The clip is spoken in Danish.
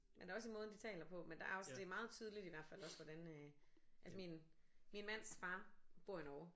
Men der er også i måden de taler på men der er også det er meget tydeligt i hvert fald også hvordan øh altså min min mands far bor i Norge